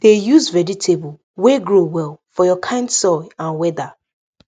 dey use vegetable wey go grow well for your kind soil and weather